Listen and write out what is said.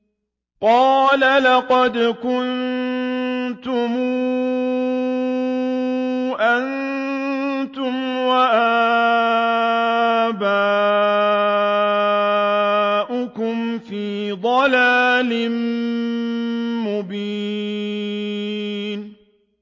قَالَ لَقَدْ كُنتُمْ أَنتُمْ وَآبَاؤُكُمْ فِي ضَلَالٍ مُّبِينٍ